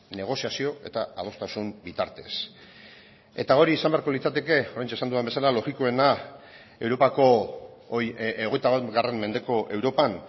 negoziazio eta adostasun bitartez eta hori izan beharko litzateke oraintxe esan dudan bezala logikoena europako hogeita bat mendeko europan